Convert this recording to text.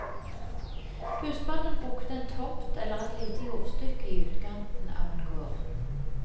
Husmannen brukte en tomt eller et lite jordstykke i utkanten av en gård.